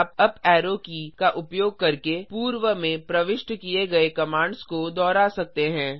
आप up arrow की का उपयोग करके पूर्व में प्रविष्ट किये गए कमांड्स को दोहरा सकते हैं